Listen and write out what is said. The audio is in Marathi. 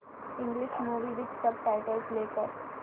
English movie with subtitles play कर